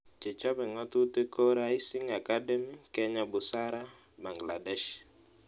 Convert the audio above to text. Che chope ng'atutik ko Rising Academy, Kenya Busara, Bangladesh